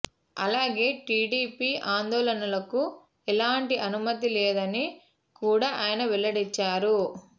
అలాగే టీడీపీ ఆందోళనలకు ఎలాంటి అనుమతి లేదని కూడా ఆయన వెల్లడించారు